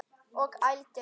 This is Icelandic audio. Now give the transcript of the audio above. Og ældi.